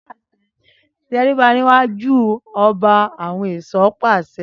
Tẹríba níwájú ọba, àwọn ẹ̀ṣọ́ pàṣẹ